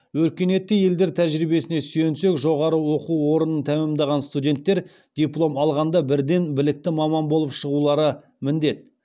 өркениетті елдер тәжірибесіне сүйенсек жоғары оқу орнын тәмәмдаған студенттер диплом алғанда бірден білікті маман болып шығулары міндет